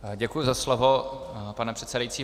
Děkuji za slovo, pane předsedající.